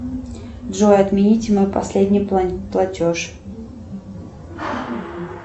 джой отмените мой последний платеж